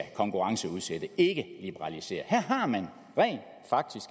konkurrenceudsættes her